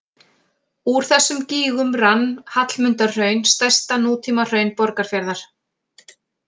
Úr þessum gígum rann Hallmundarhraun, stærsta nútímahraun Borgarfjarðar.